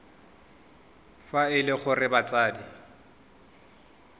fa e le gore batsadi